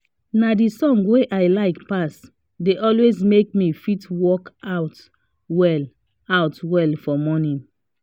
na the song wey i like pass dey always make me fit work out well out well for morning